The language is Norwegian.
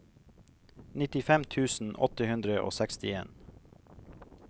nittifem tusen åtte hundre og sekstien